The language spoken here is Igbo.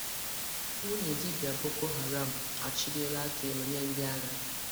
Nwunye dibia Boko Haram achịliela aka elu nye ndị agha